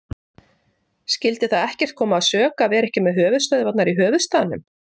Skyldi það ekkert koma að sök að vera ekki með höfuðstöðvarnar í höfuðstaðnum?